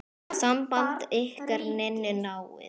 Samband ykkar Ninnu náið.